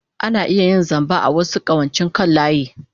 Ana iya yin zamba a wasu ƙawancen kan layi.